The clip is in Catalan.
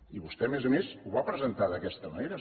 i vostè a més a més ho va presentar d’aquesta manera